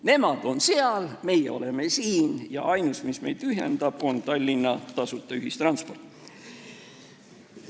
Nemad on seal, meie oleme siin ja ainus, mis meid ühendab, on Tallinna tasuta ühistransport.